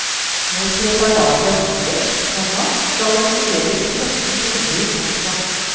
Når preparatet er innkjøpt, komma skal en studere etiketten grundig. punktum